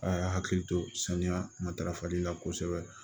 A y'a hakili to saniya matarafali la kosɛbɛ